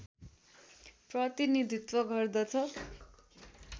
प्रतिनीधित्त्व गर्दछ